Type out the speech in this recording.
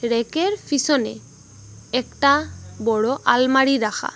রেকের পিসনে একটা বড়ো আলমারি রাখা।